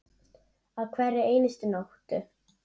Á hverri einustu nóttu.